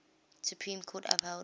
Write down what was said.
supreme court upheld